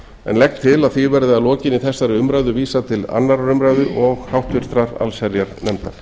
en legg til að því verði að lokinni þessari umræðu vísað til annarrar umræðu og háttvirtrar allsherjarnefndar